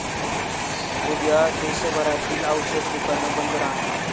उद्या देशभरातील औषध दुकानं बंद राहणार